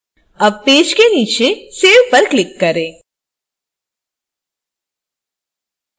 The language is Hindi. अब पेज के नीचे save पर click करें